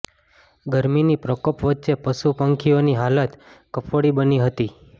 ગરમીના પ્રકોપ વચ્ચે પશુ પંખીઓની હાલત કફોડી બની હતી